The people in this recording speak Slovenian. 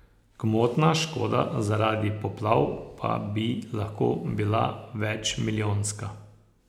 Gmotna škoda zaradi poplav pa bi lahko bila večmilijonska.